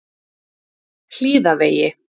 Hlíðavegi